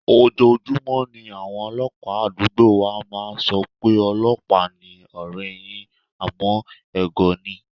Ojoojúmọ́ ni àwọn ọlọ́pàá àdúgbò wa máa ń sọ pé, "ọlọ́pàá ni ọ̀rẹ́ẹ yín", àmọ́ ẹ̀gọ́ ni.